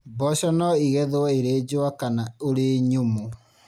Mboco no ĩgethwo ĩrĩ njũa kana ũrĩ nyũmũ.